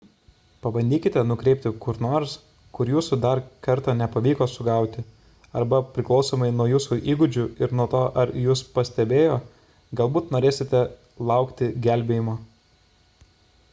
pabandykite nukreipti kur nors kur jūsų dar kartą nepavyko sugauti arba priklausomai nuo jūsų įgūdžių ir nuo to ar jus pastebėjo galbūt norėsite laukti gelbėjimo